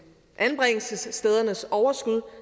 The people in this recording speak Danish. anbringelsesstedernes overskud